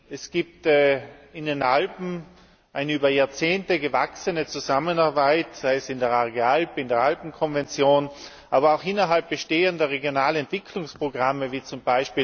Es gibt in den Alpen eine über Jahrzehnte gewachsene Zusammenarbeit, sei es in der Arge Alp, in der Alpenkonvention, aber auch innerhalb bestehender Regionalentwicklungsprogramme wie z.